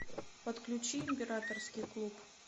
подключи императорский клуб